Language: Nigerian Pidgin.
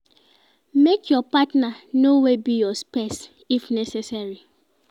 Make your partner know where be your space if necessary